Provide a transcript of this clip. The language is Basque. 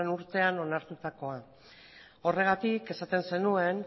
urtean onartutakoa horregatik esaten zenuen